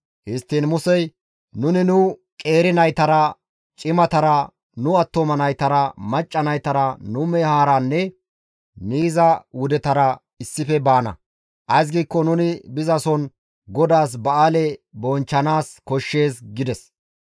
Histtiin Musey, «Nuni nu qeeri naytara cimatara, nu attuma naytara macca naytara, nu mehaaranne miiza wudetara issife baana; ays giikko nuni bizason GODAAS ba7aale bonchchanaas koshshees» gides.